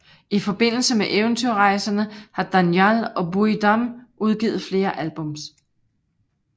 I forbindelse med Eventyrrejserne har Dánjal og Búi Dam udgivet flere albums